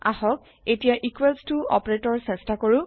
আহক এতিয়া ইকোৱেলছ ত অপাৰেতৰ চেষ্টা কৰো